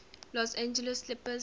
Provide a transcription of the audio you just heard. los angeles clippers